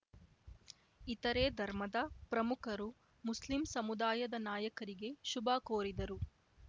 ಇತರೆ ಧರ್ಮದ ಪ್ರಮುಖರು ಮುಸ್ಲಿಂ ಸಮುದಾಯದ ನಾಯಕರಿಗೆ ಶುಭ ಕೋರಿದರು